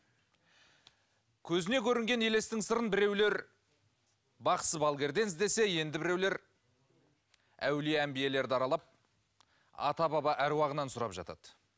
көзіне көрінген елестің сырын біреулер бақсы балгерден іздесе енді біреулер әулие әмбиелерді аралап ата баба аруағынан сұрап жатады